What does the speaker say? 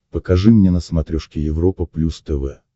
покажи мне на смотрешке европа плюс тв